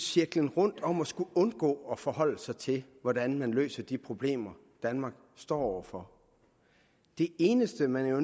cirklen rundt om at skulle forholde sig til hvordan man løser de problemer danmark står over for det eneste man jo